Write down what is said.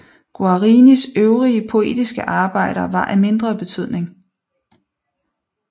Guarinis øvrige poetiske arbejder var af mindre betydning